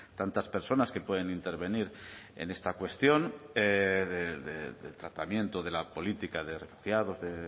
tantas personas que pueden intervenir en esta cuestión del tratamiento de la política de refugiados de